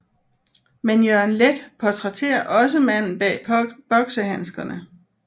Men Jørgen Leth portrætterer også manden bag boksehandskerne